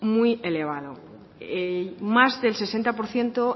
muy elevado más del sesenta por ciento